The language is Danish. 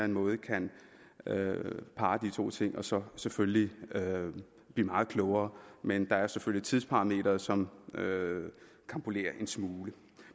måde kan parre de to ting og så selvfølgelig blive meget klogere men der er selvfølgelig tidsparameteret som karambolerer en smule